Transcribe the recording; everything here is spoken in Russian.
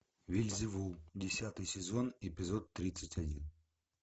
вельзевул десятый сезон эпизод тридцать один